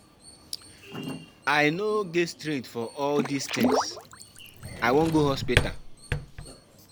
I no get strength for all dis things. I wan go hospital.